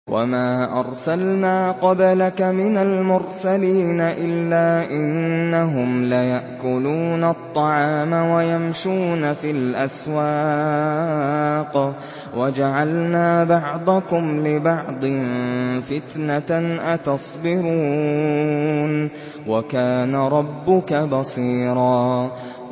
وَمَا أَرْسَلْنَا قَبْلَكَ مِنَ الْمُرْسَلِينَ إِلَّا إِنَّهُمْ لَيَأْكُلُونَ الطَّعَامَ وَيَمْشُونَ فِي الْأَسْوَاقِ ۗ وَجَعَلْنَا بَعْضَكُمْ لِبَعْضٍ فِتْنَةً أَتَصْبِرُونَ ۗ وَكَانَ رَبُّكَ بَصِيرًا